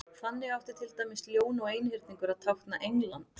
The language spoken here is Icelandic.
þannig átti til dæmis ljón og einhyrningur að tákna england